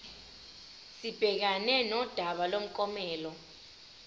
sibhekane nodaba lomklomelo